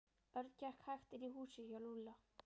Örn gekk hægt inn í húsið hjá Lúlla.